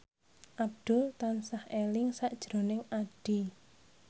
Abdul tansah eling sakjroning Addie